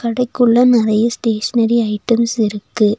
கடைக்குள்ள நறைய stationery items இருக்கு.